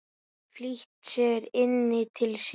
Flýtti sér inn til sín.